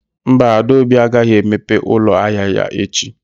Mba, Adaobi agaghị emepe ụlọ ahịa ya echi